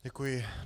Děkuji.